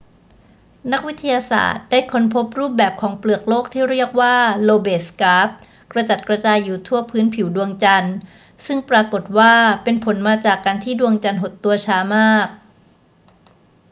นักวิทยาศาสตร์ได้ค้นพบรูปแบบของเปลือกโลกที่เรียกว่า lobate scarp กระจัดกระจายอยู่ทั่วพื้นผิวดวงจันทร์ ซึ่งปรากฏว่าเป็นผลมาจากการที่ดวงจันทร์หดตัวช้ามาก